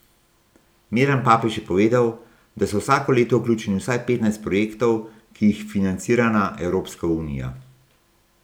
Miran Papež je povedal, da so vsako leto vključeni v vsaj petnajst projektov, ki jih financirana Evropska unija.